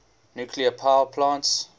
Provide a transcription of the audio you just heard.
nuclear power plants